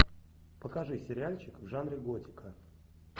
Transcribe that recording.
покажи сериальчик в жанре готика